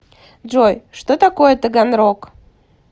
джой что такое таганрог